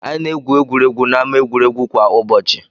Anyị na-egwu egwuregwu n'ámá egwuregwu kwa ụbọchị.